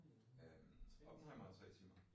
Øh Oppenheimer er tre timer